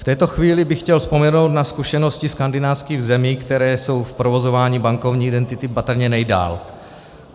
V této chvíli bych chtěl vzpomenout na zkušenosti skandinávských zemí, které jsou v provozování bankovní identity patrně nejdále.